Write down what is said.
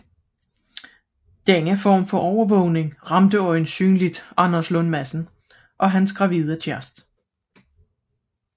Denne form for overvågning ramte øjensynligt Anders Lund Madsen og hans gravide kæreste